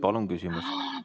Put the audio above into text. Palun küsimus!